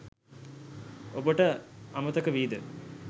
ඔබට අමතකවීද?